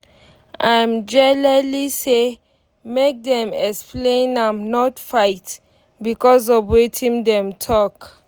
im jelely say make dem explain am not fight becos of wetin dem talk